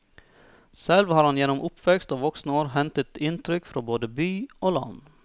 Selv har han gjennom oppvekst og voksne år hentet inntrykk fra både by og land.